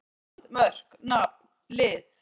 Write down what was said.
England: Mörk- Nafn- Lið.